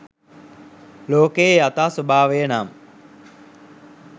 ලෝකයේ යථා ස්වභාවය නම්